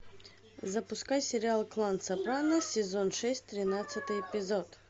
запускай сериал клан сопрано сезон шесть тринадцатый эпизод